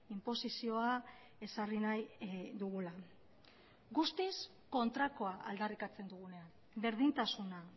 inposizioa ezarri nahi dugula guztiz kontrakoa aldarrikatzen dugunean berdintasuna